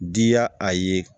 Diya a ye